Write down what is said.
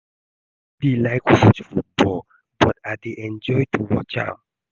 I no dey like to watch football but I dey enjoy to watch am